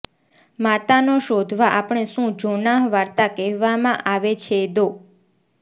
માતાનો શોધવા આપણે શું જોનાહ વાર્તા કહેવામાં આવે છે દો